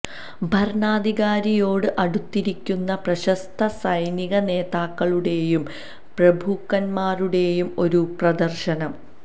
ഭരണാധികാരിയോട് അടുത്തിരിക്കുന്ന പ്രശസ്ത സൈനിക നേതാക്കളുടെയും പ്രഭുക്കന്മാരുടെയും ഒരു പ്രദർശനം